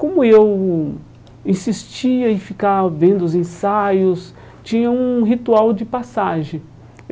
Como eu insistia em ficar vendo os ensaios, tinha um ritual de passagem.